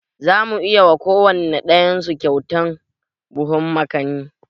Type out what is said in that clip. Za mu yi wa kowane ɗayan su kyautan buhun makani